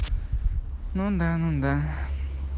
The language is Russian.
ну да ну да